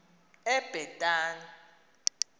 ebhetani